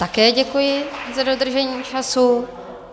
Také děkuji za dodržením času.